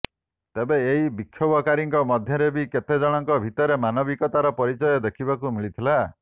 ତେବେ ଏହି ବିକ୍ଷୋଭକାରୀଙ୍କ ମଧ୍ୟରେ ବି କେତେଜଣଙ୍କ ଭିତରେ ମାନବିକତାର ପରିଚୟ ଦେଖିବାକୁ ମିଳିଥିଲା